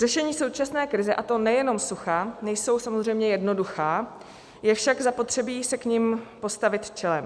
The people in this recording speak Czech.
Řešení současné krize, a to nejenom sucha, nejsou samozřejmě jednoduchá, je však zapotřebí se k nim postavit čelem.